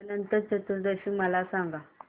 अनंत चतुर्दशी मला सांगा